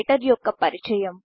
writer యొక్క పరిచయం